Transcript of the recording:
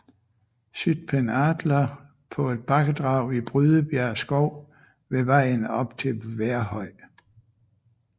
Zytphen Adeler på et bakkedrag i Brydebjerg Skov ved vejen op til Vejrhøj